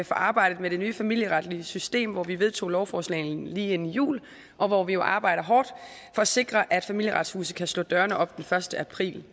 for arbejdet med det nye familieretlige system hvor vi vedtog lovforslagene lige inden jul og hvor vi jo arbejder hårdt for at sikre at familieretshuset kan slå dørene op den første april